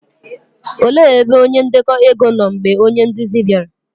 òle ebe onye ndeko ego nọ mgbe onye nduzi bịara?